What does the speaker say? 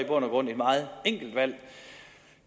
og grund et meget enkelt valg